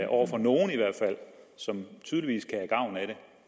over for nogle som tydeligvis kan have gavn af det